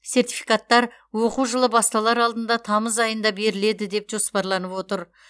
сертификаттар оқу жылы басталар алдында тамыз айында беріледі деп жоспарланып отыр